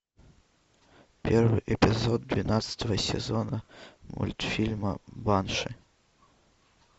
первый эпизод двенадцатого сезона мультфильма банши